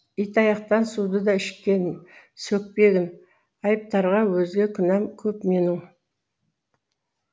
итаяқтан суды да ішкем сөкпегін айыптарға өзге күнәм көп менің